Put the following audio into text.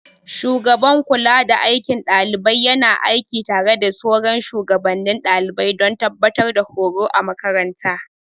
Shugaban kulada aikin ɗalibai yana aiki tare da sauran shugabannin daliban don tabbatar da horo a makarantar.